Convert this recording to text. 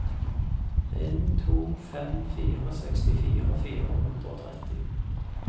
en to fem fire sekstifire fire hundre og tretti